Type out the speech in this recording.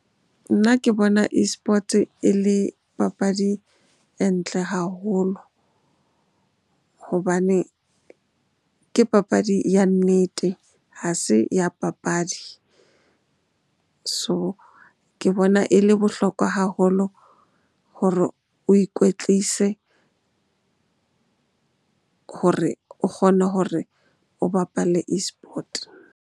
Nna ke bona eSports-e e le papadi e ntle haholo hobane ke papadi ya nnete ha se ya papadi. So, ke bona e le bohlokwa haholo hore o ikwetlise hore o kgone hore o bapale eSport.